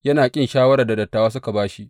Yana ƙin shawarar da dattawa suka ba shi.